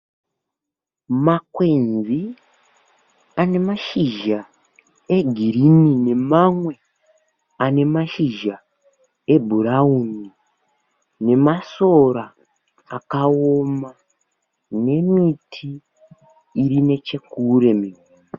Makwenzi ane mashizha egreen nemamwe anemashizha ebrown, nemasora akaoma nemiti irinechekure.